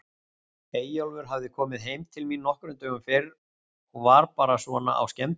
Eyjólfur hafði komið heim til mín nokkrum dögum fyrr og var bara svona á skemmtiferð.